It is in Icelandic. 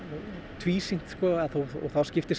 tvísýnt þá skiptir